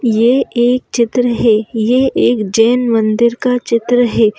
यह एक चित्र है यह एक जैन मंदिर का चित्र है।